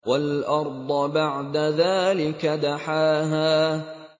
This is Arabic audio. وَالْأَرْضَ بَعْدَ ذَٰلِكَ دَحَاهَا